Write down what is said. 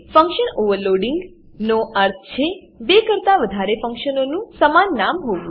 function overloading function overloading નો અર્થ છે બે કરતા વધારે ફંક્શનોનું સમાન નામ હોવું